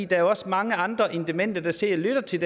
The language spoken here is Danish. der er også mange andre end demente der sidder og lytter til